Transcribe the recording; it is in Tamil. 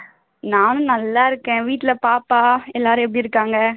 நானும் நல்லா இருக்கேன் வீட்ல பாப்பா எல்லாரும் எப்படி இருக்காங்க?